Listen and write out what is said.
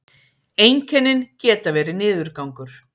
einkennin geta verið niðurgangur